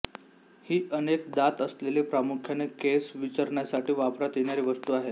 ही अनेक दात असलेली प्रामुख्याने केस विंचरण्यासाठी वापरात येणारी वस्तू आहे